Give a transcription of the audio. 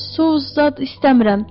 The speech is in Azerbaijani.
sous-zad istəmirəm.